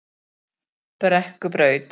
Brekkubraut